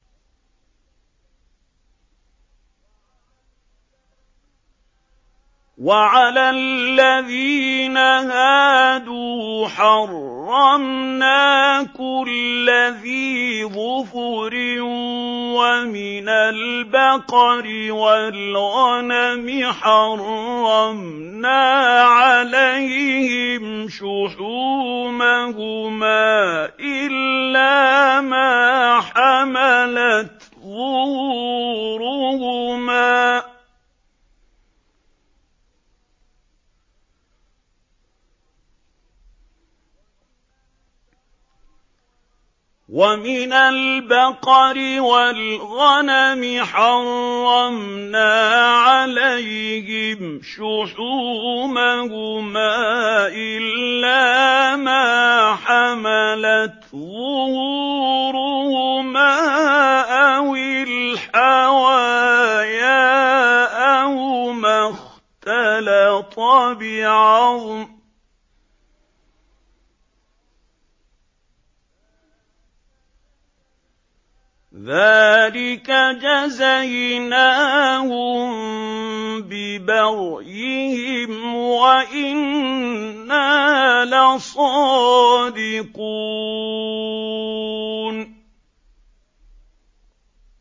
وَعَلَى الَّذِينَ هَادُوا حَرَّمْنَا كُلَّ ذِي ظُفُرٍ ۖ وَمِنَ الْبَقَرِ وَالْغَنَمِ حَرَّمْنَا عَلَيْهِمْ شُحُومَهُمَا إِلَّا مَا حَمَلَتْ ظُهُورُهُمَا أَوِ الْحَوَايَا أَوْ مَا اخْتَلَطَ بِعَظْمٍ ۚ ذَٰلِكَ جَزَيْنَاهُم بِبَغْيِهِمْ ۖ وَإِنَّا لَصَادِقُونَ